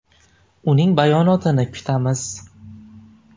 Uning bayonotini kutamiz.